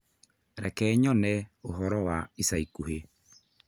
Reke nyone ũhoro wa ica ikuhĩ